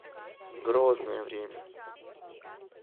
грозное время